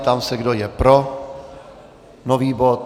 Ptám se, kdo je pro nový bod.